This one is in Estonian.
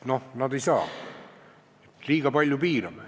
Näe, nad ei saa fondi vahetada, liiga palju piirame.